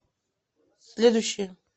следующая